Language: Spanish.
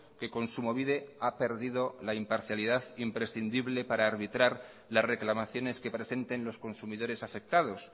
que kontsumobide ha perdido la imparcialidad imprescindible para arbitrar las reclamaciones que presenten los consumidores afectados